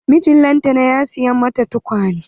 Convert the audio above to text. Mijin lantana ya siya mata tukwane.